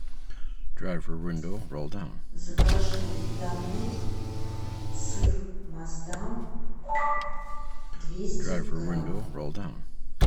закажи домой сыр маасдам двести грамм